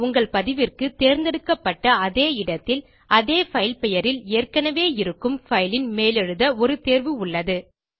உங்கள் பதிவிற்கு தேர்ந்தெடுக்கப்பட்ட அதே இடத்தில் அதே பைல் பெயரில் ஏற்கனவே இருக்கும் பைல் ன் மேலெழுத ஒரு தேர்வு உள்ளது